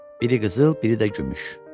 Biri qızıl, biri də gümüş.